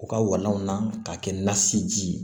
U ka walanw na k'a kɛ nasiji ye